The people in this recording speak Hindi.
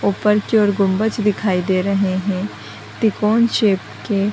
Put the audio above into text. उपर की ओर गुम्बज दिखाई दे रहे हैं त्रिकोण शेप के।